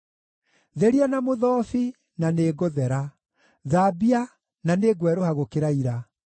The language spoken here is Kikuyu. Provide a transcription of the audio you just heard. Theria na mũthobi, na nĩngũthera; thaambia, na nĩngwerũha gũkĩra ira.